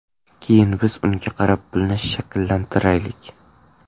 Keyin biz unga qarab pulni shakllantiraylik.